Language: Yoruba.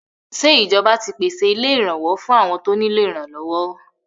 Ṣé ìjọba ti pèsè ilé ìrànwọ́ fún àwọn tó nílò ìrànlọ́wọ́?